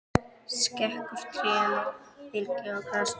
Skekur trén og beljar á grasinu.